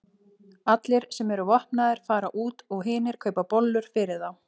Allir sem eru vopnaðir fara út og hinir kaupa bollur fyrir þá.